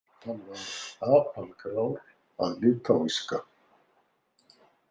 Hann var apalgrár að litáíska.